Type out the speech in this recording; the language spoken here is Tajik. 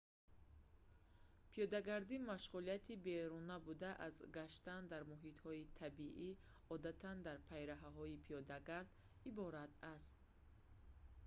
пиёдагардӣ машғулияти беруна буда аз гаштан дар муҳитҳои табиӣ одатан дар пайраҳаҳои пиёдагард иборат аст